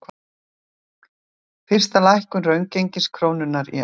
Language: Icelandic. Fyrsta lækkun raungengis krónunnar í ár